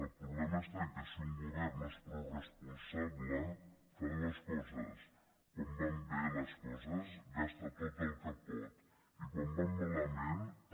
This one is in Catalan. el problema està en el fet que si un govern no és prou responsable fa dues coses quan van bé les coses gasta tot el que pot i quan van malament també